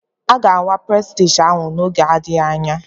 A ga-awa Prestige ahụ n'oge n'adịghị anya?